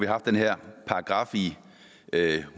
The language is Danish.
haft den her paragraf i